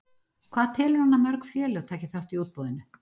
Hvað telur hann að mörg félög taki þátt í útboðinu?